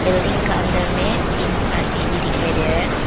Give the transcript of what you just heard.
Building का अंदर में तीन आदमी भी दिखाई दे रहा है।